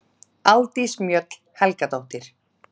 Aldís Mjöll Helgadóttir